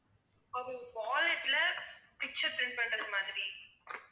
அது wallet ல picture print பண்றது மாதிரி